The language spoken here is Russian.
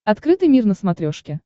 открытый мир на смотрешке